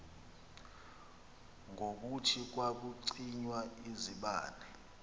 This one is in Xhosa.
ngokuthi kwakucinywa izibane